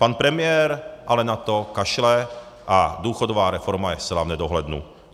Pan premiér ale na to kašle a důchodová reforma je zcela v nedohlednu.